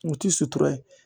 U ti sutura ye